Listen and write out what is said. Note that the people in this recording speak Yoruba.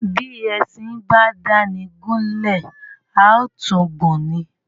Bi ẹṣin ba dáni gúlè à tun gun ni.